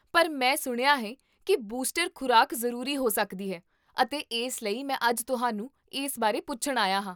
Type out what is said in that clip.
ਪਰ ਮੈਂ ਸੁਣਿਆ ਹੈ ਕੀ ਬੂਸਟਰ ਖ਼ੁਰਾਕ ਜ਼ਰੂਰੀ ਹੋ ਸਕਦੀ ਹੈ, ਅਤੇ ਇਸ ਲਈ ਮੈਂ ਅੱਜ ਤੁਹਾਨੂੰ ਇਸ ਬਾਰੇ ਪੁੱਛਣ ਆਇਆ ਹਾਂ